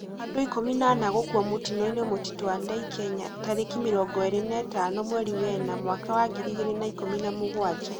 Andũ ikũmi na ana gũkũa mũtino-inĩ Mtĩto Andeĩ , Kenya tarĩki mĩrongo ĩrĩ na ithano mweri wa ĩna mwaka wa ngiri igĩrĩ na ikũmi na mũgwanja